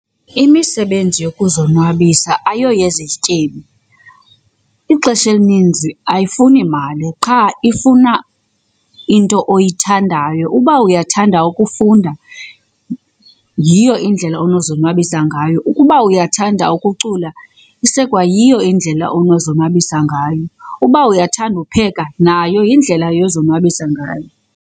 Imisebenzi yokuzonwabisa ayoyezi zityebi. Ixesha elininzi ayifuni mali qha ifuna into oyithandayo. Uba uyathanda ukufunda yiyo indlela onozonwabisa ngayo, ukuba uyathanda ukucula isekwayiyo indlela onozonwabisa ngayo, uba uyathanda upheka nayo yindlela yozonwabisa ngayo.